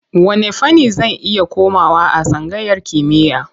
Wanne fanni zan iya komawa a tsangayar kimiyya?